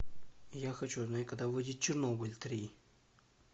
я хочу знать когда выйдет чернобыль три